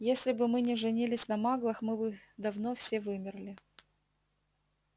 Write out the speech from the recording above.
если бы мы не женились на маглах мы бы давно все вымерли